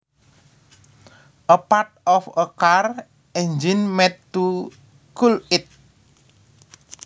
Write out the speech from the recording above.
A part of a cars engine made to cool it